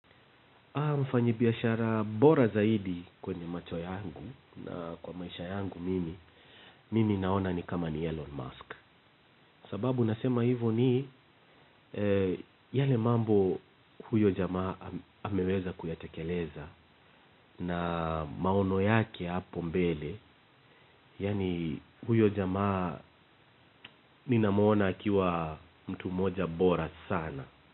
Mfanyi biashara bora zaidi kwenye macho yangu na kwa maisha yangu mimi, mimi naona ni kama ni Elon Musk. Sababu nasema hivo ni yale mambo huyo jamaa ameweza kuyatekeleza na maono yake hapo mbele, yaani huyo jamaa ninamuona akiwa mtu moja bora sana.